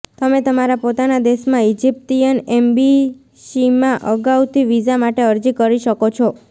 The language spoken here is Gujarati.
તમે તમારા પોતાના દેશમાં ઇજિપ્તીયન એમ્બેસીમાં અગાઉથી વિઝા માટે અરજી કરી શકો છો